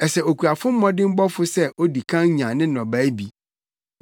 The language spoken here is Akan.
Ɛsɛ okuafo mmɔdemmɔfo sɛ odi kan nya ne nnɔbae bi.